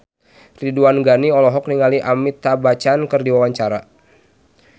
Ridwan Ghani olohok ningali Amitabh Bachchan keur diwawancara